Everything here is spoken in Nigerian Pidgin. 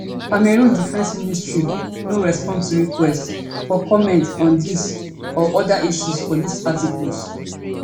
cameroon defence ministry no respond to requests for comment on dis or oda issues for dis article